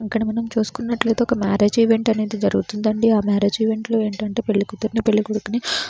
ఇక్కడ మనం చూసుకున్నట్లయితే ఒక మ్యారేజ్ ఈవెంట్ అనేది జరుగుతుంది అండి. ఆ మ్యారేజ్ ఈవెంట్ లో ఏంటంటే పెళ్లి కూతుర్ని పెళ్లి కొడుకుని --